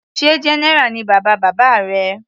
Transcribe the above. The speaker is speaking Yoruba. Sé general ni bàbá bàbá rẹ.